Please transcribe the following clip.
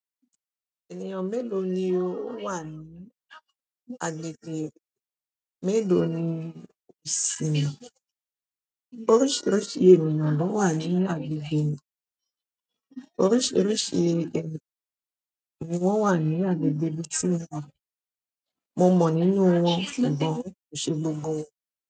Ènìyàn mélòó ni ó wà ní agbègbè mélòó ni ó ṣí? Oríṣiríṣi ènìyàn ló wà ní agbègbè mi. Oríṣiríṣi ènìyàn wà ní agbègbè tí mo wà. Mo mọ nínú wọn, ṣùgbọ́n, ki ṣé gbogbo won.